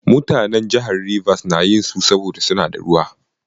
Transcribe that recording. Mutanen jihar Ribas na yin su, saboda su na da ruwa.